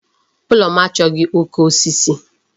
Ulo m achọghị oke osisi.